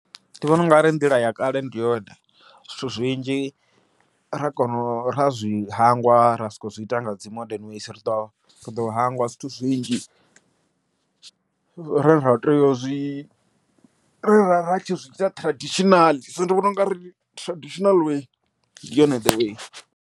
Ndi vhona u nga ri nḓila ya kale ndi yone, zwithu zwinzhi ra kona ra zwi hangwa ra soko zwi ita nga dzi modern ways ri ḓo ri ḓo hangwa zwithu zwinzhi, re ra ri tshi zwi ita traditional so ndi vhona u nga ri traditional way ndi yone there way.